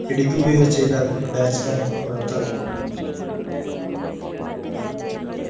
പിടിക്കുകയോ ചെയ്താൽ bat man പുറത്തതാകുന്നു